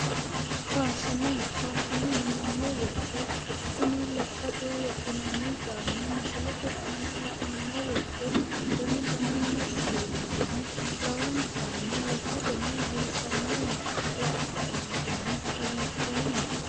Faashine. Faashine yineemmo woyite kuni lekkate wodhinanni caammi misilete aana la'nummo woyite danu danunni ofollinohu lowontanni lekkateno biifannoho. Lae kaeentinni hagidhoomma.